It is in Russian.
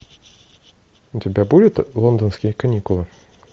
у тебя будет лондонские каникулы